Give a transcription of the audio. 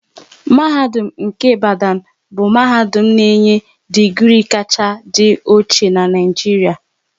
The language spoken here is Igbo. Mahadum nke Ibadan bụ mahadum na-enye digri kacha dị ochie n'Naijiria